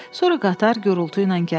Sonra qatar gurultu ilə gəldi.